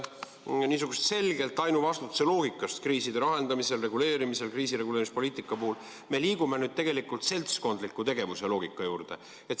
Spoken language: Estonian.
Nimelt, niisugusest selgelt ainuvastutuse loogikast kriiside lahendamisel, reguleerimisel ja kriisireguleerimispoliitika kujundamisel me liigume tegelikult seltskondliku tegevuse loogika poole.